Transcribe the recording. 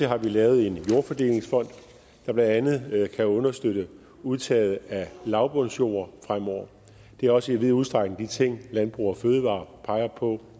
har lavet en jordfordelingsfond der blandt andet kan understøtte udtaget af lavbundsjord fremover det er også i vid udstrækning de ting landbrug fødevarer peger på